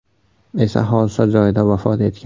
esa hodisa joyida vafot etgan.